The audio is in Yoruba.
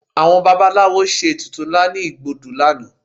Àwọn babaláwo ṣe ètùtù ńlá ní igbódù lánàá